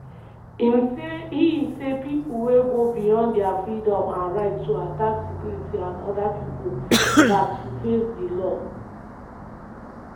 he say pipo wey go beyond dia freedom and right to attack security and oda pipo gat to face di law.